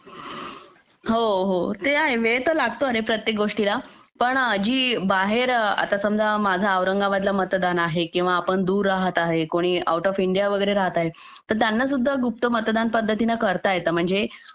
हो हो ते तर आहे वेळ तर लागतो प्रत्येक गोष्टीला पण जी आता बाहेर आता समजा माझा औरंगाबादला मतदान आहे आपण दूर राहत आहे कोणी आऊट ऑफ इंडिया वगैरे राहत आहे त्यांना सुद्धा गुप्त मतदान पद्धतीने करता येते म्हणजे